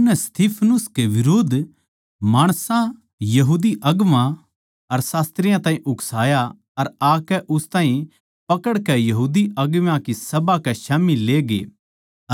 उननै नै स्तिफनुस के बिरुध्द माणसां यहूदी अगुवां अर शास्त्रियाँ ताहीं उकसाया अर आकै उस ताहीं पकड़कै बड्डी सभा कै स्याम्ही ले गये